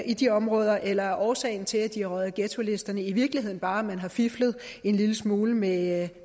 i de områder eller er årsagen til at de er røget af ghettolisten i virkeligheden bare at man har fiflet en lille smule med